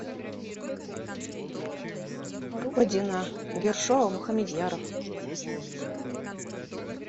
родина ершова мухамедьяров